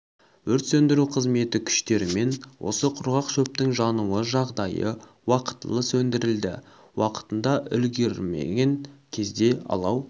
өрт сөндіру қызметі күштерімен осы құрғақ шөптің жануы жағдайы уақытылы сөндірілді уақытында үлгірмеген кезде алау